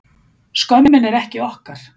Skömmin er ekki okkar